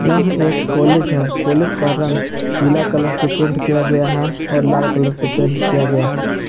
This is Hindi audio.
यह एक कॉलेज है कॉलेज का रंग पीला कलर से पेंट किया गया है और लाल कलर से पेंट किया गया है।